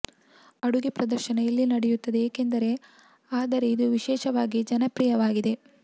ಅಡುಗೆ ಪ್ರದರ್ಶನ ಇಲ್ಲಿ ನಡೆಯುತ್ತದೆ ಏಕೆಂದರೆ ಆದರೆ ಇದು ವಿಶೇಷವಾಗಿ ಜನಪ್ರಿಯವಾಗಿದೆ